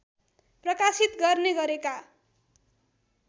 प्रकाशित गर्ने गरेका